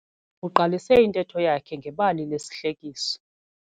Uqalise intetho yakhe ngebali lesihlekiso.